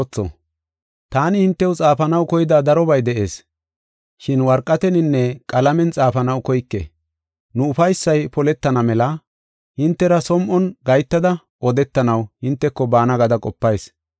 Taani hintew xaafanaw koyida darobay de7ees, shin worqateninne qalamen xaafanaw koyke. Nu ufaysay poletana mela hintera som7on gahetada odetanaw hinteko baana gada qopayis.